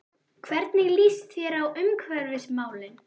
Hvernig líst þér á umhverfismálin?